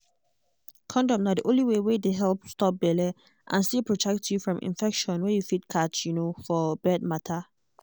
condom na the only one wey dey help stop belle and still protect you from infection wey you fit catch um for bed matter.